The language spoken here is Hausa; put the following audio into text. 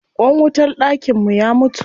Ƙwan wutar dakin mu ya mutu.